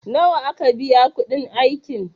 nawa aka biya kudin aikin?